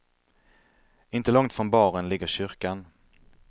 Inte långt från baren ligger kyrkan.